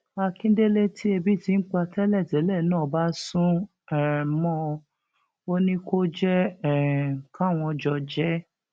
akíndélé tí ebi ti ń pa tẹlẹtẹlẹ náà bá sún um mọ ọn ò ní kó jẹ um káwọn jọ jẹ ẹ